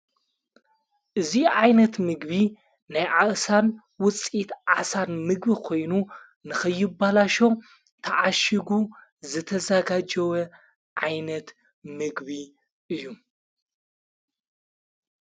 እዙይ ዓይነት ምግቢ ናይ ዓእሣን ውፂት ዓሣን ምግቢ ኾይኑ ንኽይባላሸው ተዓሽጉ ዘተዛጋጀወ ዓይነት ምግቢ እዩ።